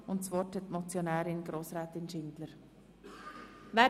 Die Motionärin hat das Wort.